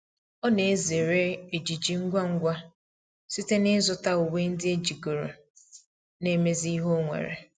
ọ na ezere ejiji ngwa ngwa site na izu ta uwe ndi ejigoro na imezi ihe onwere